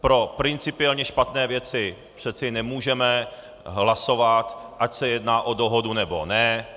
Pro principiálně špatné věci přece nemůžeme hlasovat, ať se jedná o dohodu, nebo ne.